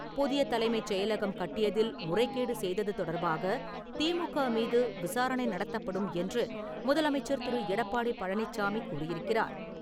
புதிய தலைமைச் செயலகம் கட்டியதில் முறைகேடு செய்தது தொடர்பாக திமுக மீது விசாரணை நடத்தப்படும் என்று முதலமைச்சர் திரு. எடப்பாடி பழனிச்சாமி கூறியிருக்கிறார்.